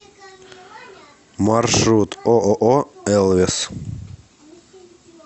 маршрут ооо элвес